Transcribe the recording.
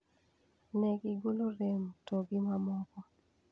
Ne gigolo rem to gi mamoko.